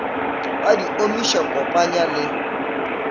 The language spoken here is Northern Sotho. ba di omiša kopanya le